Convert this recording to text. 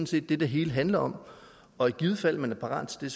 set det det hele handler om og i givet fald man er parat til